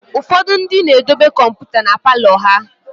ụfọdụ ndị na-edobe kọmpụta na Palọ ha